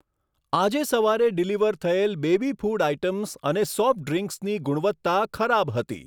આજે સવારે ડિલિવર થયેલ બેબી ફૂડ આઇટમ્સ અને સોફ્ટ ડ્રીંક્સની ગુણવત્તા ખરાબ હતી.